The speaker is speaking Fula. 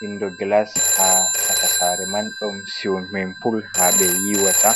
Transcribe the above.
windo gilas ha chaka sare man ɗon siwimin puul ha ɓe yiwata.